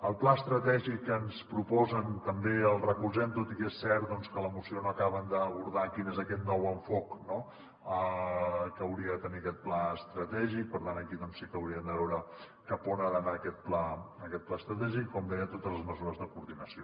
el pla estratègic que ens proposen també el recolzem tot i que és cert que en la moció no acaben d’abordar quin és aquest nou enfocament no que hauria de tenir aquest pla estratègic per tant aquí sí que hauríem de veure cap on ha d’anar aquest pla estratègic i com deia totes les mesures de coordinació